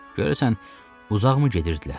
Görəsən, uzaqmı gedirdilər?